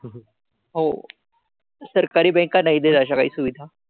हो. सरकारी banks नाही देत अशा काही सुविधा.